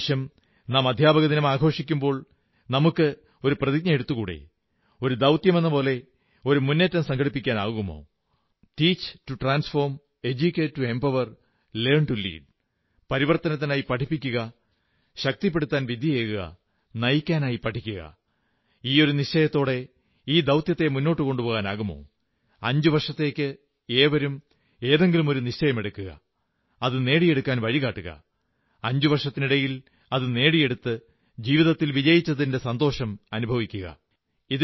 ഇപ്രാവശ്യം നാം അധ്യാപകദിനം ആഘോഷിക്കുമ്പോൾ നമുക്ക് ഒരു നിശ്ചയമെടുത്തുകൂടേ ഒരു ദൌത്യമെന്നപോലെ ഒരു മുന്നേറ്റം സംഘടിപ്പിക്കാനാവുമോ teach to transform educate to empower learn to lead പരിവർത്തനത്തിനായി പഠിപ്പിക്കുക ശക്തിപ്പെടുത്താൻ വിദ്യയേകുക നയിക്കാനായി പഠിക്കുക ഈയൊരു നിശ്ചയദാർഡ്യത്തോടെ ഈ ദൌത്യത്തെ മുന്നോട്ടുകൊണ്ടുപോകാനാകുമോ 5 വർഷത്തേക്ക് ഏവരും ഏതെങ്കിലുമൊരു നിശ്ചയമെടുക്കുക അത് നേടിയെടുക്കാൻ വഴികാട്ടുക അഞ്ചുവർഷത്തിനിടയിൽ അതു നേടിയെടുത്ത് ജീവിതത്തിൽ വിജയിച്ചതിന്റെ സന്തോഷം അനുഭവിക്കുക